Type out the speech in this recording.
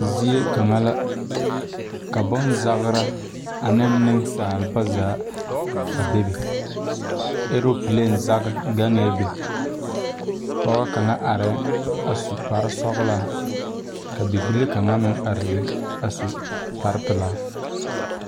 Zie kaŋa ka la ka bonzagra aneŋ neŋsaaba zaa a bebe aeeropleen zage bee be pɔgɔ kaŋa aeɛɛŋ a su kparesɔglaa ka bibile kaŋa meŋ are be a su kparepilaa.